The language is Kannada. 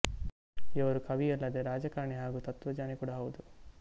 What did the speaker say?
ಇವರು ಕವಿ ಅಲ್ಲದೆ ರಾಜಕರಣಿ ಹಾಗೂ ತತ್ವಙ್ಞಾನಿ ಕೂಡ ಹೌದು